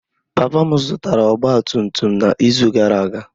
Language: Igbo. Papa m zụtara ọgba tum tum n'izu gara aga.